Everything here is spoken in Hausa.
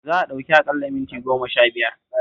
Zai ɗauki aƙalla minti goma-shabiyar